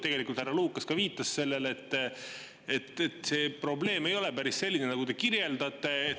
Tegelikult härra Lukas ka viitas sellele, et see probleem ei ole päris selline, nagu te kirjeldate.